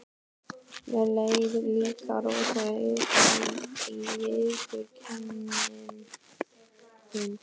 Mér leið líka rosalega illa, viðurkennir hún.